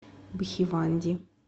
бхиванди